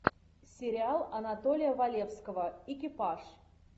сериал анатолия валевского экипаж